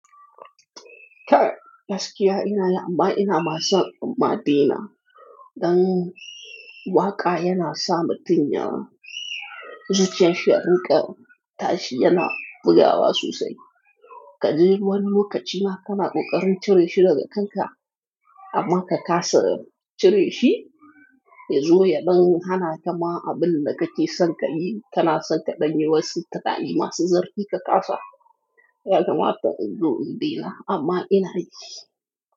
Ka! Gaskiya ina lam, amma ina ma umma'tina. Dan waƙa yana sa mutum ya. Zuciyar shi a rinƙe, tashi yana bugawa sosai. Ka je wani lokaci ma kana ƙoƙarin cire shi daga kanka, amma ka ƙasa cire shi, yazo ya ɗan hana ta ma abin da kake son ka yi. Kana son ka ɗanye wasu tunani masu zafi ka ƙasa, ya gama ta iso gidan amma ina yi.